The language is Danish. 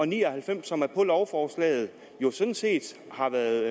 ni og halvfems som er på lovforslaget jo sådan set har været